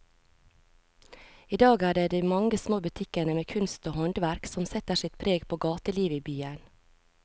I dag er det de mange små butikkene med kunst og håndverk som setter sitt preg på gatelivet i byen.